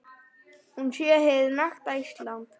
Hún sé hið nakta Ísland.